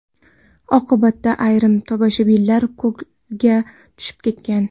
Oqibatda ayrim tomoshabinlar ko‘lga tushib ketgan.